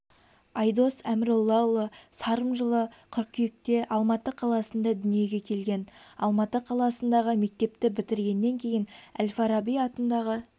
айдос әміроллаұлы сарым жылы қыркүйекте алматы қаласында дүниеге келген алматы қаласынадағы мектепті бітіргеннен кейін әл-фараби атындағы